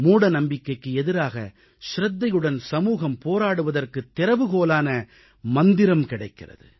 மூடநம்பிக்கைக்கு எதிராக சிரத்தையுடன் சமூகம் போராடுவதற்குத் திறவுகோலான மந்திரம் கிடைக்கிறது